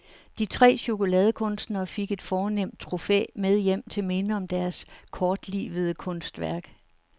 De tre chokoladekunstnere fik et fornemt trofæ med hjem til minde om deres kortlivede kunstværk.